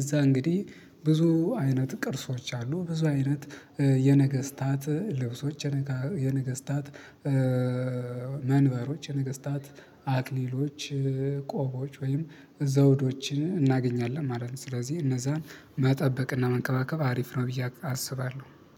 እዛ እንግዲህ ብዙ አይነት ቅርሶች አሉ ብዙ አይነት የነገስታት ልብሶች የነገስታት መንበሮች የነገስታት አክሊሎች ቆቦች ወይም ዘውዶችን እናገኛለን ማለት ነው። ስለዚህ እነዛን መጠበቅና መንከባከብ አሪፍ ነው ብዬ አስባለሁ